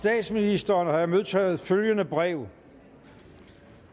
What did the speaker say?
statsministeren har jeg modtaget følgende brev